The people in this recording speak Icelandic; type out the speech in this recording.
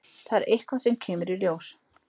Það er eitthvað sem kemur í ljós.